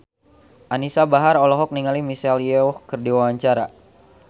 Anisa Bahar olohok ningali Michelle Yeoh keur diwawancara